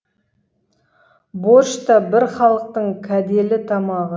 борщ та бір халықтың кәделі тамағы